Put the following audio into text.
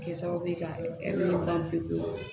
Kɛ sababu ye ka ban pewu